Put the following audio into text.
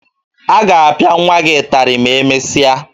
Ị ga-apịa nwa gị ịtarị ma emesịa